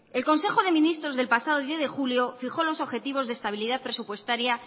el consejo de ministros del pasado diez de julio fijó los objetivos de estabilidad presupuestaria